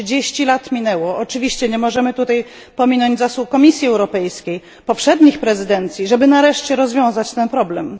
30 lat minęło, oczywiście nie możemy tutaj pominąć zasług Komisji Europejskiej ani poprzednich prezydencji, żeby nareszcie rozwiązać ten problem.